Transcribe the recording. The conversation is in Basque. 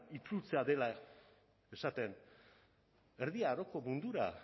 itzultzea dela esaten erdi aroko mundura